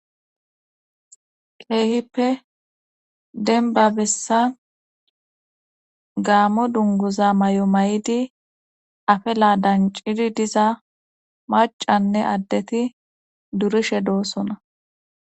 keehippe denba bessa gaamo dungoza may7o may7idi afe laadancidi diza macanne addeti durishe doossona